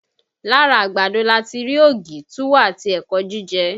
Lára àgbàdo lati rí ògì, túwó àti ẹ̀kọ́ jíjẹ